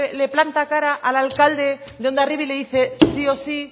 le planta cara al alcalde de hondarribi y le dice sí o sí